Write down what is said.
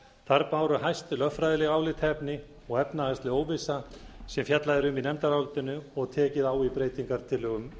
þar báru hæst lögfræðileg álitaefni og efnahagsleg óvissa sem fjallað er um í nefndarálitinu og tekið á í breytingartillögum meiri hlutans